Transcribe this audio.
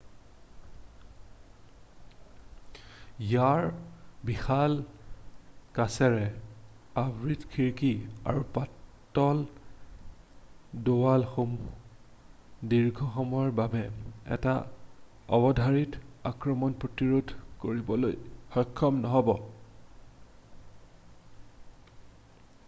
ইয়াৰ বিশাল কাচেৰে আবৃত খিৰিকী আৰু পাতল দেৱালসমূহে দীৰ্ঘসময়ৰ বাবে এটা অৱধাৰিত আক্ৰমণ প্ৰতিৰোধ কৰিবলৈ সক্ষম নহ'ব